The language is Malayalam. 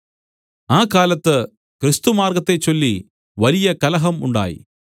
ആ കാലത്ത് ക്രിസ്തുമാർഗ്ഗത്തെച്ചൊല്ലി വലിയ കലഹം ഉണ്ടായി